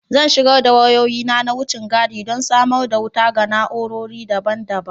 Zan shigar da wayoyi na wucin gadi don samar da wuta ga na'urori daban-daban